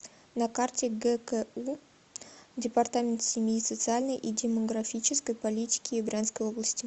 на карте гку департамент семьи социальной и демографической политики брянской области